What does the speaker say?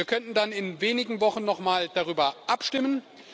Wir könnten dann in wenigen Wochen noch mal darüber abstimmen.